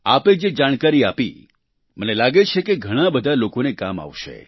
આપે જે જાણકારી આપી મને લાગે છે કે તે ઘણાં બધા લોકોને કામ આવશે